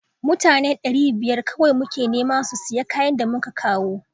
Mutane ɗari biyar kawai muke nema su siya kayan da muka kawo